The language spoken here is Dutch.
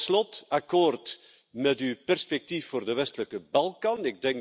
Tot slot, akkoord met uw perspectief voor de Westelijke Balkan.